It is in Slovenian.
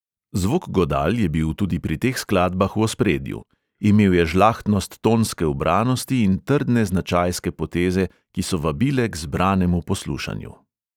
Zvok godal je bil tudi pri teh skladbah v ospredju: imel je žlahtnost tonske ubranosti in trdne značajske poteze, ki so vabile k zbranemu poslušanju.